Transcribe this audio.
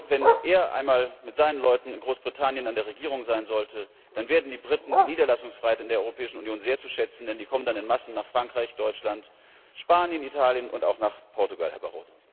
Wenn er einmal mit seinen Leuten in Großbritannien an der Regierung sein sollte, dann werden die Briten die Niederlassungsfreiheit in der Europäischen Union sehr zu schätzen wissen, denn sie kommen dann in Massen nach Frankreich, Deutschland, Spanien, Italien und auch nach Portugal, Herr Barroso!